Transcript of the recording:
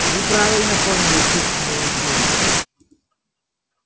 вы правильно поняли суть моей идеи